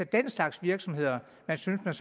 den slags virksomheder man synes man